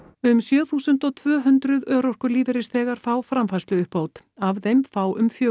um sjö þúsund tvö hundruð örorkulífeyrisþegar fá framfærsluuppbót af þeim fá um fjögur